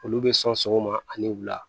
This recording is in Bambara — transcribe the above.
Olu bɛ sɔn sɔgɔma ani wula